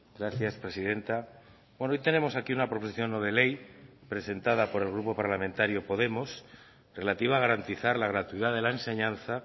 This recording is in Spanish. gracias presidenta hoy tenemos aquí una proposición no de ley presentada por el grupo parlamentario podemos relativa a garantizar la gratuidad de la enseñanza